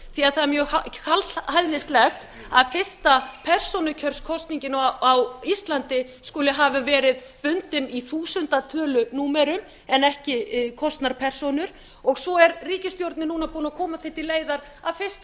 því það er mjög kaldhæðnislegt að fyrsta persónukjörskosningin á íslandi skuli hafa verið bundin í þúsundatölunúmerum en ekki kosnar persónur svo er ríkisstjórnin núna búin að koma því til leiðar að fyrsta persónukjörskosningin á íslandi